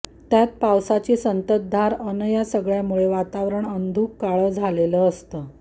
त्यात पावसाची संततधार अन् या सगळ्यामुळे वातावरण अंधुक काळं झालेलं असतं